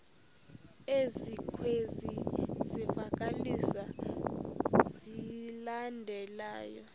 ezikwezi zivakalisi zilandelayo